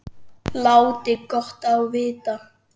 Láti gott á vita.